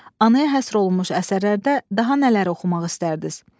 Anaya həsr olunmuş əsərlərdə daha nələri oxumaq istərdiniz?